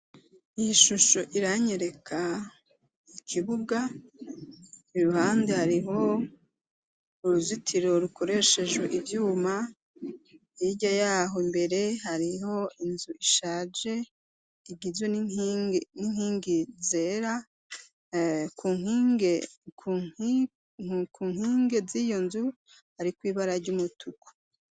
iyishusho iranyereka ikibuga iruhande hariho uruzitiro rukoresheje ibyuma irya yaho imbere hariho inzu ishaje igizwe n'inkingi zera ku nkinge z'iyo nzu ari kw'ibara ry'umutuku